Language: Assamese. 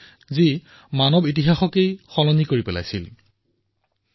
যিয়ে মানৱ ইতিহাসক এক নতুন দিশ প্ৰদান কৰিছিল নতুন কীৰ্তিমান প্ৰদান কৰিছিল